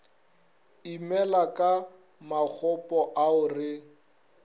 imela ka makgopo ao re